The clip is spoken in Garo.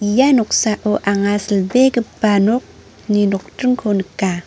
ia noksao anga silbegipa nokni nokdringko nika.